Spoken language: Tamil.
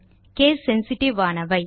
கேஸ் சென்சிட்டிவ் ஆனவை